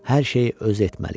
Hər şeyi özü etməli idi.